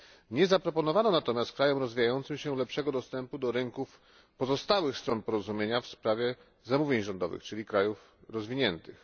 Nie zaproponowano natomiast krajom rozwijającym się lepszego dostępu do rynków pozostałych stron Porozumienia w sprawie zamówień rządowych, czyli krajów rozwiniętych.